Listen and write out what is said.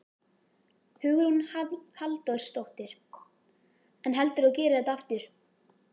Hugrún Halldórsdóttir: En heldurðu að þú gerir þetta aftur?